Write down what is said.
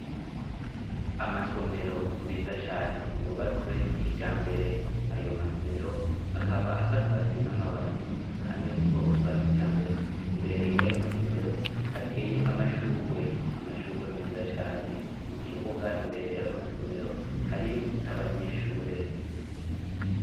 Amasomero meza cane, yubatswe kijambere, ayo masomero akaba asakajwe n'amabati kandi yo mu bwoko bwa kijambere, imbere y'ayo masomero hateye amashurwe, amashurwe meza cane, mu kibuga imbere y'ayo masomero hariyo n'abanyeshure.